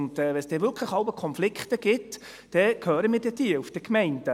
Wenn es wirklich Konflikte gibt, dann hören wir davon in den Gemeinden.